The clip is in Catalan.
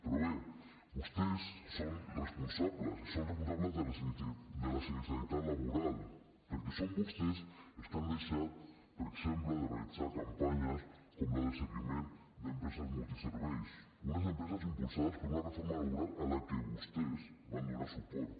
però bé vostès són responsables i són responsables de la sinistralitat laboral perquè són vostès els que han deixat per exemple de realitzar campanyes com les del seguiment d’empreses multiserveis unes empreses impulsades per una reforma laboral a què vostès van donar suport